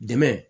Dɛmɛ